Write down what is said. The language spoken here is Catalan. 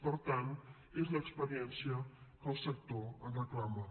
per tant és l’experiència que el sector ens reclama